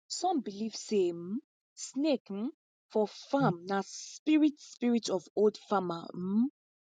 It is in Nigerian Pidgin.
some believe say um snake um for farm na spirit spirit of old farmer um